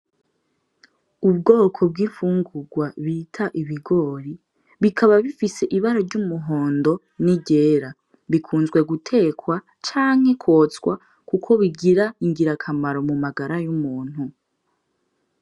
Ubwoko bw'ifungurwa bita ibigori, bikaba bifise ibara ry'umuhondo n'iryera. Bikunzwe gutekwa canke kwotswa kuko bigira ingirakamaro mu magara y'umuntu.